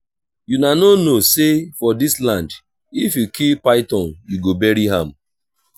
una no know say for dis land if you kill python you go bury am